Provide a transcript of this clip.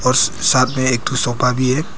और साथ में एक ठो सोफा भी है।